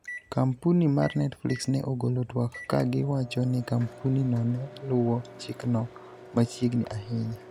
Kampuni mar Netflix ne ogolo twak ka gi wacho ni kampuni no ne luwo chikno machiegni ahinya.